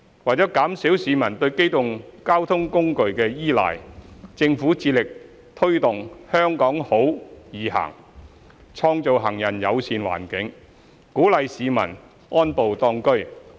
為減少市民對機動交通工具的依賴，政府致力推動"香港好.易行"，創造行人友善環境，鼓勵市民"安步當車"。